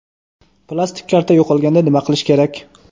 Plastik karta yo‘qolganda nima qilish kerak?.